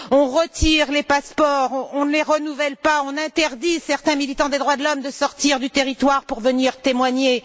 On retire les passeports, on ne les renouvelle pas, on interdit à certains militants des droits de l'homme de sortir du territoire pour venir témoigner.